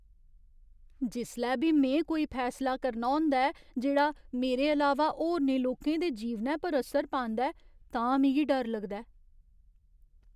जिसलै बी में कोई फैसला करना होंदा ऐ जेह्ड़ा मेरे अलावा होरनें लोकें दे जीवनै पर असर पांदा ऐ तां मिगी डर लगदा ऐ।